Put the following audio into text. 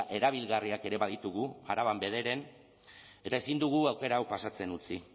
erabilgarriak ere baditugu araban bederen eta ezin dugu aukera hau pasatzen utzi